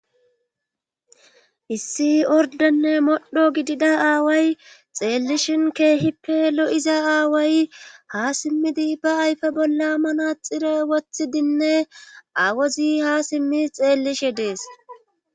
issi ordenne modho gidida aaway xeellishin keehippe lo7iza aaway ha simmidi ba ayfe bolla manaxire wothi dinne awozi ha simmi xeellishe dees